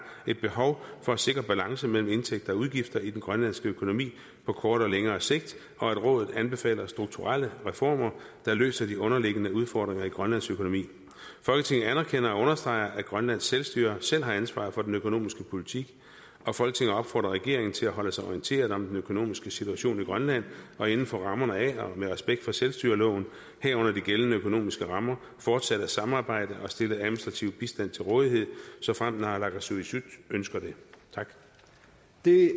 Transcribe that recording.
et behov for at sikre balance mellem indtægter og udgifter i den grønlandske økonomi på kort og længere sigt og at rådet anbefaler strukturelle reformer der løser de underliggende udfordringer i grønlands økonomi folketinget anerkender og understreger at grønlands selvstyre selv har ansvaret for den økonomiske politik folketinget opfordrer regeringen til at holde sig orienteret om den økonomiske situation i grønland og inden for rammerne af og med respekt for selvstyreloven herunder de gældende økonomiske rammer fortsat at samarbejde og stille administrativ bistand til rådighed såfremt naalakkersuisut ønsker det det